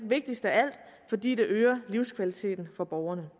vigtigst af alt fordi det øger livskvaliteten for borgerne